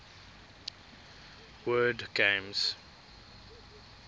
word games